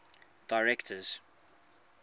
directors